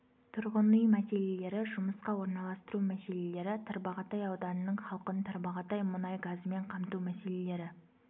тұрғын үй мәселелері жұмысқа орналастыру мәселелері тарбағатай ауданының халқын тарбағатай мұнай газымен қамту мәселелері